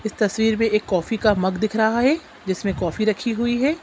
इस तस्वीर मे एक कॉफ़ी का मग दिख रहा है जिसमें कॉफ़ी राखी हुई है।